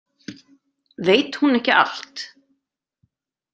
Veit hún ekki allt?